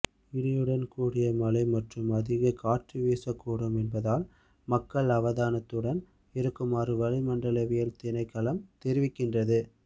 இடியுடன் கூடிய மழை மற்றும் அதிக காற்று வீசக்கூடும் என்பதால் மக்களை அவதானத்துடன் இருக்குமாறு வளிமண்டலவியல் திணைக்களம் தெரிவிக்கின்றது